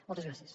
moltes gràcies